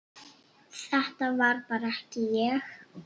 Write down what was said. Þetta var bara ekki ég.